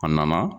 A nana